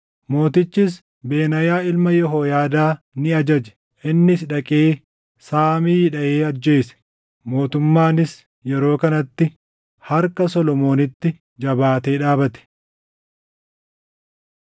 Mootichis Benaayaa ilma Yehooyaadaa ni ajaje; innis dhaqee Saamii dhaʼee ajjeese. Mootummaanis yeroo kanatti harka Solomoonitti jabaatee dhaabate.